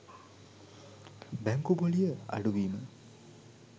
බැංකු පොලිය අඩුවීම